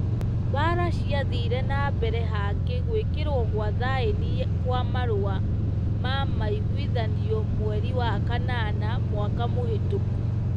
Mbara ciathire nambere hangi guikirwo gwa thaini kwa marũa ma maiguithanio mweri kanana mwaka mũhitũku.